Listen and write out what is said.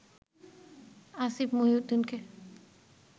Asif মহিউদ্দিনকে